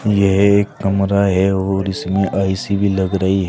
यह एक कमरा है और इसमें ऐ_सी भी लग रही है।